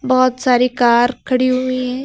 बहुत सारी कार खड़ी हुई है।